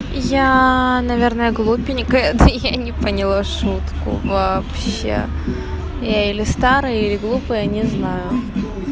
я наверное глупенькая да я не поняла шутку вообще я или старая или глупая не знаю